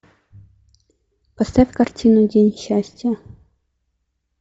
поставь картину день счастья